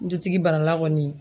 Dutigi bana la kɔni.